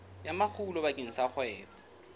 ya makgulo bakeng sa kgwebo